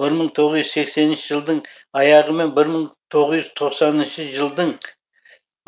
бір мың тоғыз жүз сексенінші жылдың аяғы мен бір мың тоғыз жүз тоқсаныншы жылдың